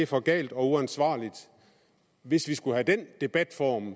for galt og uansvarligt hvis vi skulle have den debatform